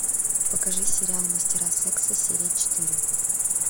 покажи сериал мастера секса серия четыре